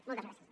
moltes gràcies